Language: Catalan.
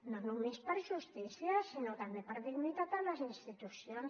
no només per justícia sinó també per dignitat a les institucions